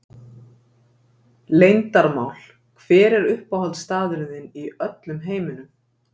Leyndarmál Hver er uppáhaldsstaðurinn þinn í öllum heiminum?